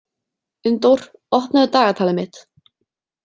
Unndór, opnaðu dagatalið mitt.